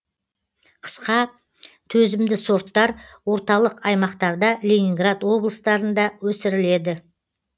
қысқа төзімді сорттар орталық аймақтарда ленинград облыстарында өсіріледі